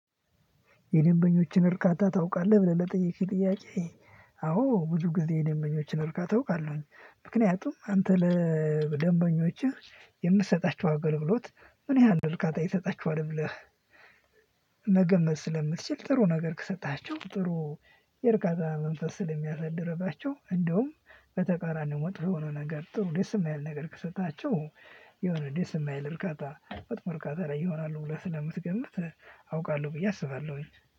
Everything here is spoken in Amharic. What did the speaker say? የደንበኞችን እርካታ ታውቃለህ ብለህ ለጠየከኝ ጥያቄ? አዎ ብዙ ጊዜ የደንበኞችን እርካታ አውቃለሁኝ ምክንያቱም አንተ ለደንበኞችህ የምትሰጣቸው አገልግሎት ምን ያህል ነው ርካታ ይሰጣቸዋል ብለህ። መገመት ስለምትችል ጥሩ ነገር ከሰጠሃቸው ጥሩ የእርካታ መንፈስ ስለሚያሳድርባቸው እንደውም በተቃራኒው መጥፎ የሆነ ነገር ጥሩ ደስ የማይል ነገር ከሰጣቸው። የሆነ ደስ የማይል እርካታ መጥፎ እርካታ ላይ ይሆናሉ ብለህ ስለምትገምት አውቃለሁ ብዬ አስባለሁኝ።